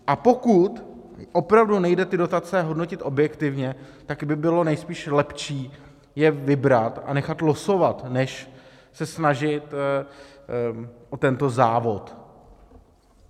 A pokud opravdu nejde ty dotace hodnotit objektivně, tak by bylo nejspíš lepší je vybrat a nechat losovat než se snažit o tento závod.